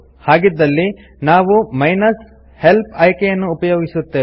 ಹಾಗಿದ್ದಲ್ಲಿ ನಾವು minus help ಆಯ್ಕೆಯನ್ನು ಉಪಯೋಗಿಸುತ್ತೇವೆ